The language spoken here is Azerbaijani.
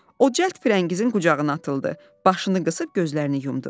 O cəld Firəngizin qucağına atıldı, başını qısıb gözlərini yumdu.